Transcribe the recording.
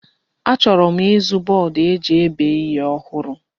Achọrọ m ịzụ bọọdụ eji ebe ihe ọhụrụ.